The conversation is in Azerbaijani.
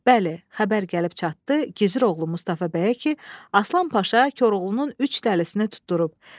Bəli, xəbər gəlib çatdı, Gizir oğlu Mustafa bəyə ki, Aslan Paşa Koroğlunun üç dəlisini tutdurub.